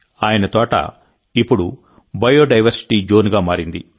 ఆయన తోట ఇప్పుడు బయోడైవర్సిటీ జోన్గా మారింది